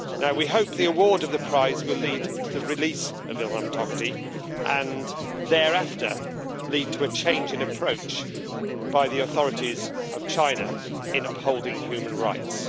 We hope the award of the prize will lead to the release of Ilham Tohti and, thereafter, lead to a change in approach by the authorities of China in upholding human rights.